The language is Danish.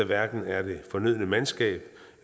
hverken er det fornødne mandskab